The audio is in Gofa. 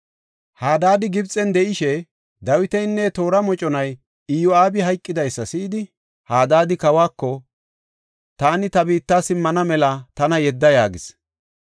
Hadaadi Gibxen de7ishe Dawitinne iya toora moconay Iyo7aabi hayqidaysa si7idi, kawako, “Taani ta biitta simmana mela tana yedda” yaagis.